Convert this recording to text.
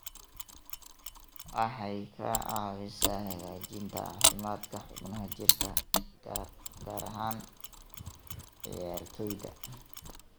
Waxay ka caawisaa hagaajinta caafimaadka xubnaha jirka, gaar ahaan ciyaartoyda.